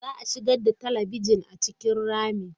Za a shigar da talabijin a cikin ramin.